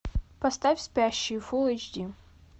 поставь спящие фул эйч ди